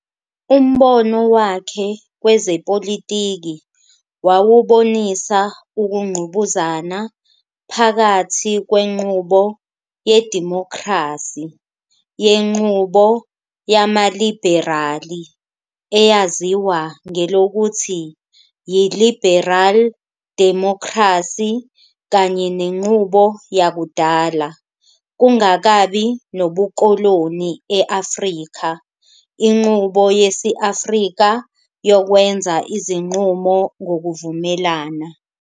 Umbono wakhe kwezepolitiki wawubonisa ukungqubuzana phakathi kwenqubo yedimokhrasi yenqubo yamaliberali, eyaziwa ngelokuthi yi-liberal democracy kanye nenqubo yakudala kungakabi nobukoloni e-Afrika inqubo yesi-Afrika yokwenza izinqumo ngokuvumelana.